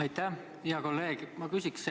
Aitäh, hea kolleeg!